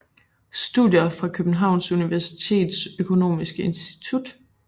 Studier fra Københavns Universitets Økonomiske Institut